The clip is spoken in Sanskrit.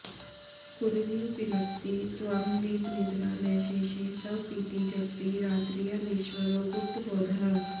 कुररि विलपसि त्वं वीतनिद्रा न शेषे स्वपिति जगति रात्र्यामीश्वरो गुप्तबोधः